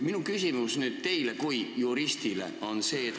Minu küsimus teile kui juristile on niisugune.